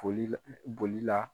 Boli bolila.